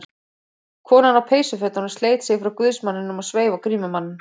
Konan á peysufötunum sleit sig frá guðsmanninum og sveif á grímumanninn.